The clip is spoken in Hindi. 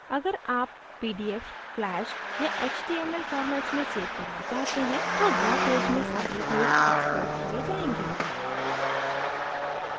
अगर आप pdf flash या html formats में सेव करना चाहते हैं तो draw पेज में सारे पेज exported किये जायेंगे